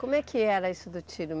Como é que era isso do tiro?